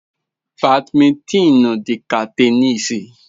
Badmintin dị ka tenisi.